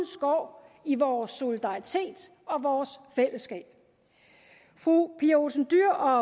skår i vores solidaritet og vores fællesskab fru pia olsen dyhr og